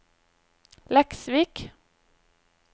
Leksvik